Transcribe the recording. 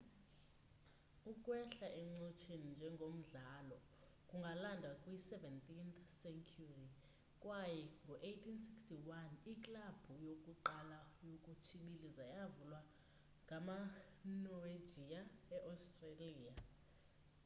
ukwehla encotsheni njengomdlalo kungalandwa kwi 17th century kwaye ngo 1861 iklabhu yokuqala yokutshibiliza yavulwa ngama norwegia e-australia